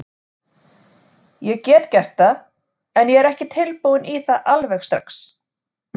Ég get gert það, en ég er ekki tilbúinn í það alveg strax.